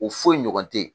O foyi ɲɔgɔn te ye